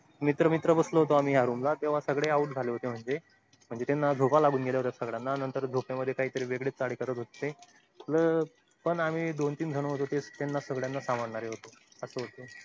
मित्र मित्र बसतो होतो आम्ही या room ला तेंव्हा सगळे out झाले होते म्हणजे म्हणज त्यांना झोपा लागून गेल्या होत्या सगळ्यांना नंतर झोपेमध्ये काहीतरी वेगळेच चाले करत होते. पण आम्ही दोन तीन जण होतो ते सगळ्यांना सांभाळणारे होतो. असं होतो.